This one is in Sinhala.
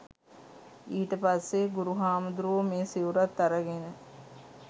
ඊට පස්සේ ගුරු හාමුදුරුවෝ මේ සිවුරත් අරගෙන